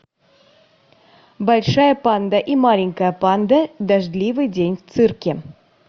большая панда и маленькая панда дождливый день в цирке